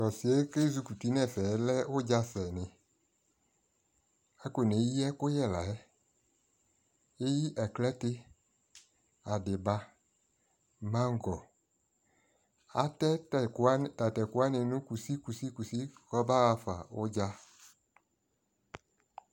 tʋ ɔsiiɛ kɛzʋkʋti nʋ ɛfɛ lɛ ʋdza sɛ ni, akɔnɛ yi ɛkʋyɛ layɛ, ɛyi aklatɛ, adiba, mangɔ, atɛ tatɛ kʋ wani nʋ kʋsi kʋsi kʋsi kʋ ɔba aƒa nʋ ʋdza